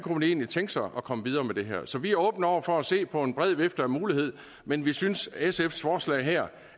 egentlig kunne tænke sig at komme videre med det her så vi er åbne over for at se på en bred vifte af muligheder men vi synes at sfs forslag her